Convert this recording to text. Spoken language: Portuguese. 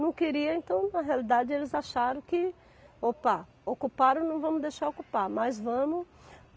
Não queriam, então, na realidade, eles acharam que, opa, ocuparam, não vamos deixar ocupar, mas vamos.